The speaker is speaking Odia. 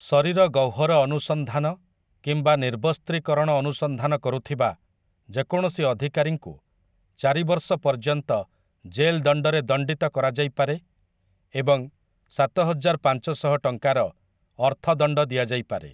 ଶରୀର ଗହ୍ୱର ଅନୁସନ୍ଧାନ କିମ୍ବା ନିର୍ବସ୍ତ୍ରୀକରଣ ଅନୁସନ୍ଧାନ କରୁଥିବା ଯେକୌଣସି ଅଧିକାରୀଙ୍କୁ ଚାରି ବର୍ଷ ପର୍ଯ୍ୟନ୍ତ ଜେଲ୍ ଦଣ୍ଡରେ ଦଣ୍ଡିତ କରାଯାଇପାରେ ଏବଂ ସାତହଜାର ପାଞ୍ଚଶହ ଟଙ୍କାର ଅର୍ଥଦଣ୍ଡ ଦିଆଯାଇପାରେ ।